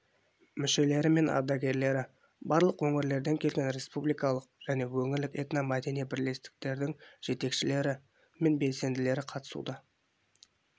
мүшелері мен ардагерлері барлық өңірлерден келген республикалық және өңірлік этномәдени бірлестіктердің жетекшілері мен белсенділері қатысуда